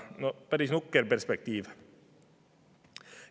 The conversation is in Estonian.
No päris nukker perspektiiv.